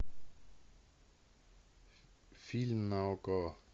фильм на окко